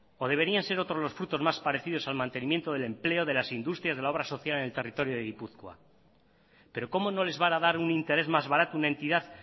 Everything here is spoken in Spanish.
o deberían ser otros los frutos más parecidos al mantenimiento del empleo de las industrias de la obra social en el territorio de gipuzkoa pero cómo no les van a dar un interés más barato una entidad